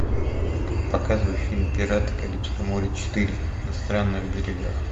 показывай фильм пираты карибского моря четыре на странных берегах